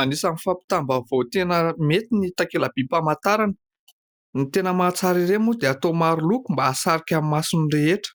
Anisany fampitam-baovao tena mety ny takela-by famantarana. Ny tena mahatsara ireo moa dia atao maro loko mba hahasarika ny mason'ny rehetra.